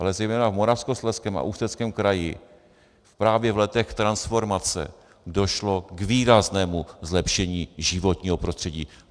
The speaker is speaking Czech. Ale zejména v Moravskoslezském a Ústeckém kraji právě v letech transformace došlo k výraznému zlepšení životního prostředí.